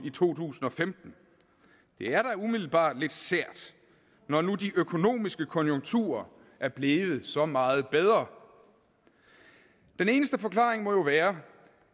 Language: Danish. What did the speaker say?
i to tusind og femten er da umiddelbart lidt sært når nu de økonomiske konjunkturer er blevet så meget bedre den eneste forklaring må jo være